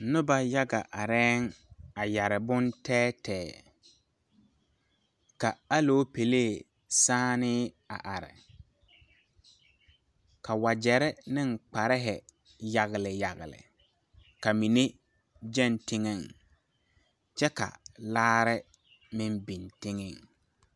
Noba yaga areɛɛŋ a yɛre bon tɛɛtɛɛ ka aloopɛlee sããnèé a are ka wagyɛrre neŋ kparehi yagle yagle ka mine gyɛŋ teŋɛŋ kyɛ ka laare meŋ biŋ teŋɛŋ.